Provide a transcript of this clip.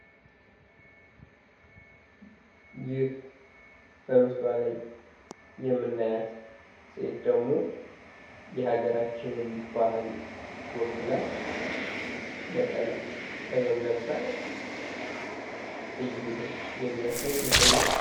ይህ በምስሏ ላይ የምናያት ሴት ደግሞ የሃገራችን ወክላ ባህል ፣ ነጠላ ፣ ጥበብ ለብሳ እየሄደች የሚያሳይ ምስል ነው።